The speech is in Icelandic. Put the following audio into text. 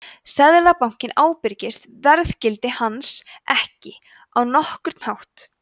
seðlabankinn ábyrgist verðgildi hans ekki á nokkurn hátt